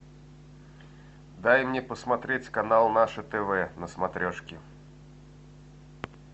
дай мне посмотреть канал наше тв на смотрешке